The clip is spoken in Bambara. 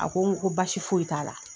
A ko n ko baasi foyi t'a la.